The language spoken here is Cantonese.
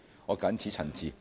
我謹此陳辭。